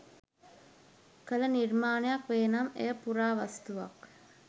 කළ නිර්මාණයක් වේ නම් එය පුරාවස්තුවක්.